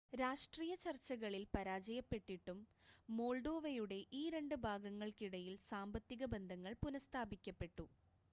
രാഷ്ട്രീയ ചർച്ചകളിൽ പരാജയപ്പെട്ടിട്ടും മോൾഡോവയുടെ ഈ രണ്ട് ഭാഗങ്ങൾക്കിടയിൽ സാമ്പത്തിക ബന്ധങ്ങൾ പുനഃസ്ഥാപിക്കപ്പെട്ടു